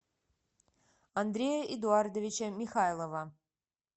андрея эдуардовича михайлова